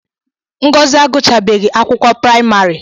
Ngọzi agụchabeghi akwụkwọ praịmarị